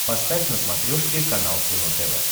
поставь на смотрешке канал кино тв